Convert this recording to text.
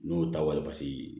N'o ta wali pase